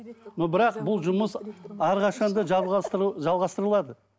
но бірақ бұл жұмыс әрқашан да жалғастырылады